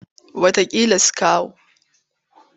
Wataƙila su kawo.